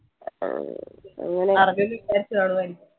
പർഞ്ഞെന്ന് വിചാരിച്ചു കാണും